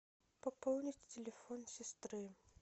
пополнить телефон сестры